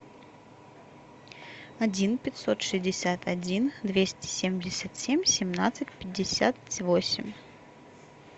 один пятьсот шестьдесят один двести семьдесят семь семнадцать пятьдесят восемь